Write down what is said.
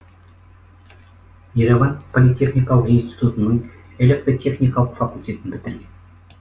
ереван политехникалық институтының электотехникалық факультетін бітірген